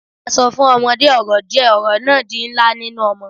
A so fun omode oro die, oro na di nla ninu omo